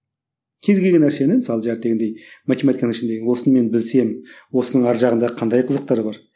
кез келген нәрсені мысалы математиканың ішіндегі осыны мен білсем осының арғы жағында қандай қызықтар бар